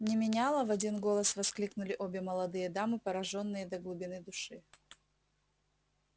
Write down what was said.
не меняла в один голос воскликнули обе молодые дамы поражённые до глубины души